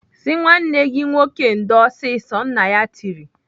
"Sị nwanne gị nwoke ndo ọsịsọ!" Nna ya tiri.